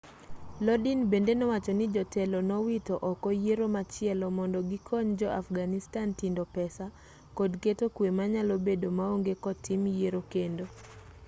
lodin bende nowacho ni jotelo nowito oko yiero machielo mondo gikony jo afghanistan tindo pesa kod keto kwe manyalo bedo maonge kotim yiero kendo